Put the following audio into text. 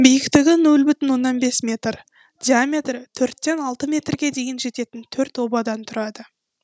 биіктігі нөл бүтін оннан бес метр диаметрі төрттен алты метрге дейін жететін төрт обадан тұрады